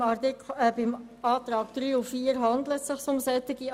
Bei den Planungserklärungen 3 und 4 handelt es sich um solche Vorschläge.